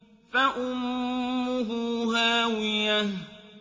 فَأُمُّهُ هَاوِيَةٌ